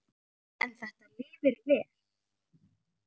En þetta lifir vel.